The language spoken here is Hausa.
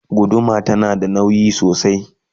guduma tana da nauyi sosai